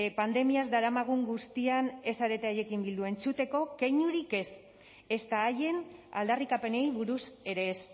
pandemiaz daramagun guztian ez zarete haiekin bildu entzuteko keinurik ez ezta haien aldarrikapenei buruz ere ez